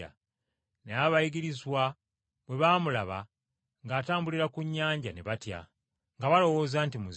Naye abayigirizwa bwe baamulaba ng’atambulira ku nnyanja ne batya, nga balowooza nti muzimu.